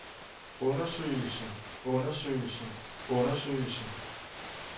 undersøgelsen undersøgelsen undersøgelsen